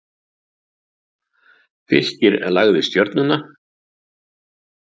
Fylkir lagði Stjörnuna